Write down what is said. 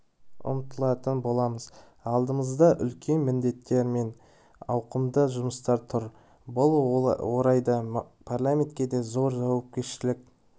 ұмтылатын боламыз алдымызда үлкен міндеттер мен ауқымды жұмыстар тұр бұл орайда парламентке де зор жауапкершілік